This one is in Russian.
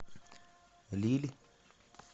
лилль